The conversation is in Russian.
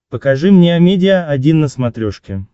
покажи мне амедиа один на смотрешке